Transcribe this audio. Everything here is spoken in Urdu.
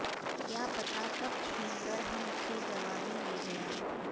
کیا پتا کب چھین کر ہم سے جوانی لے گیا